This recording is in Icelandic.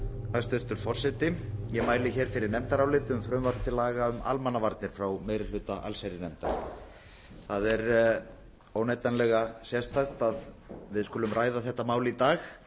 hæstvirtur forseti ég mæli hér fyrir nefndaráliti um frumvarp til aðra um almannavarnir frá meiri hluta allsherjarnefndar það er óneitanlega sérstakt að við skulum ræða þetta mál í dag